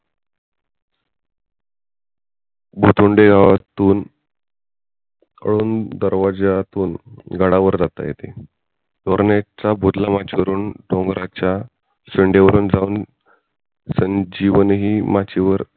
मुतुंडे गावातून उन दर्वाज्यातून गडावर जातं येते तोरण्याच्या वरून डोंगराच्या शेंड्यावरून जावून संजीवनी माची वर